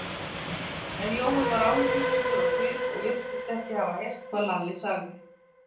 En Jói var áhyggjufullur á svip og virtist ekki hafa heyrt hvað Lalli sagði.